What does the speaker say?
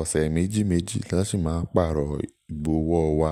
Ọ̀sẹ̀ méjì méjì ni wọ́n sì máa ń pàrọ̀ ìbọwọ́ wa.